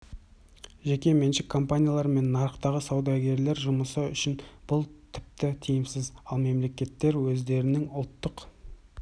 жеке меншік компаниялар мен нарықтағы саудагерлер жұмысы үшін бұл тіпті тиімсіз ал мемлекеттер өздерінің ұлттық